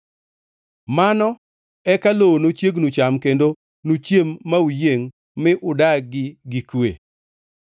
Mano eka lowo nochiegnu cham kendo nuchiem ma uyiengʼ mi unudagi gi kwe.